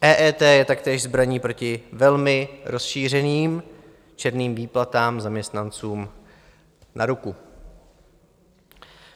EET je taktéž zbraní proti velmi rozšířeným černým výplatám zaměstnancům na ruku.